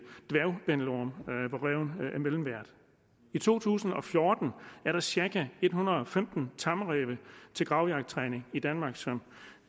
dværgbændelorm hvor ræven er mellemvært i to tusind og fjorten er der cirka en hundrede og femten tamræve til gravjagttræning i danmark som